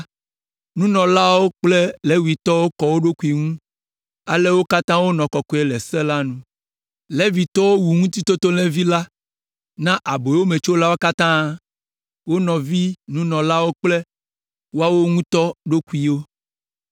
Nunɔlaawo kple Levitɔwo kɔ wo ɖokuiwo ŋu, ale wo katã wonɔ kɔkɔe le se la nu. Levitɔwo wu Ŋutitotolẽvi la na aboyometsolawo katã, wo nɔvi nunɔlawo kple woawo ŋutɔ ɖokuiwo.